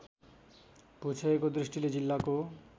भूक्षयको दृष्टिले जिल्लाको